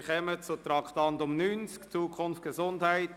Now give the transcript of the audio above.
Wir kommen zum Traktandum 90, «Zukunft Gesundheit: